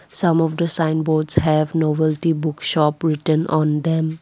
some of the sign boards have novelty book shop written on them.